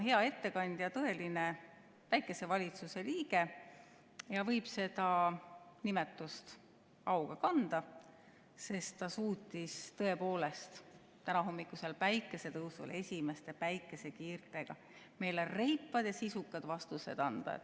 Hea ettekandja on tõeline päikesevalitsuse liige ja võib seda nimetust auga kanda, sest ta suutis tõepoolest tänahommikusel päikesetõusul esimeste päikesekiirtega meile reipad ja sisukad vastused anda.